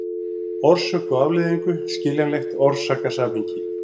orsök og afleiðingu, skiljanlegt orsakasamhengi.